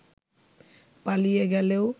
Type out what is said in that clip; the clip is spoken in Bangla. পালিয়ে গেলেও